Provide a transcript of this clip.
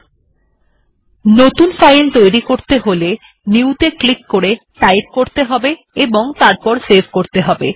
এখন যদি আমরা একটি নতুন ফাইল তৈরী করতে চাই তাহলে নিউ ত়ে ক্লিক করে টাইপ করতে হবে এবং তারপর সেভ করতে হবে